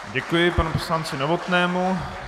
Děkuji panu poslanci Novotnému.